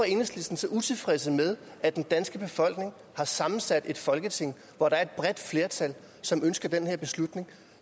enhedslistens utilfredse med at den danske befolkning har sammensat et folketing hvor der er et bredt flertal som ønsker den her beslutning